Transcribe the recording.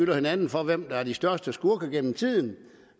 hinanden for at være de største skurke gennem tiden